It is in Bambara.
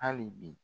Hali bi